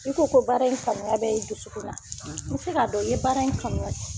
I ko baara in kanuya bɛ, i dusukun na, n bɛ se k'a dɔn i ye baara in kanuya